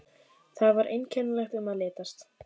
Þar var einkennilegt um að litast.